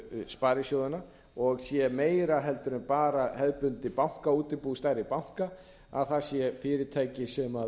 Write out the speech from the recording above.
sparisjóðanna og sé meira en bara hefðbundið bankaútibú stærri banka að það sé fyrirtæki sem